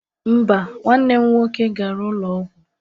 Mba, nwanne nne m nwoke gara ụlọ ọgwụ.